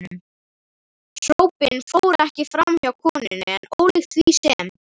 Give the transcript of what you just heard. Hrópin fóru ekki framhjá konunni, en ólíkt því sem